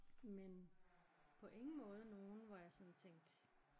Men på ingen måde nogle hvor jeg sådan tænkte